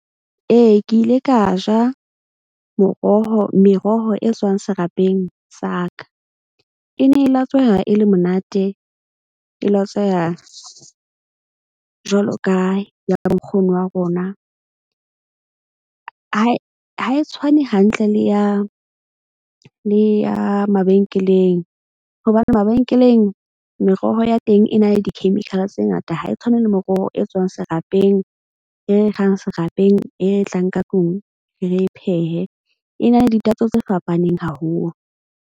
Ee, ke ile ka ja moroho, meroho e tswang serapeng sa ka e ne e latsweha e le monate, e latsweha jwalo ka ya bo nkgono wa rona. Ha e tshwane hantle le ya mabenkeleng, hobane mabenkeleng, meroho ya teng e na le di-chemical tse ngata. Ha e tshwane le meroho e tswang serapeng e kgang serapeng e tlang ka tlung re phehe. E na le ditatso tse fapaneng haholo.